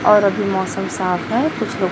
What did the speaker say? और अभी मौसम साफ है कुछ लो--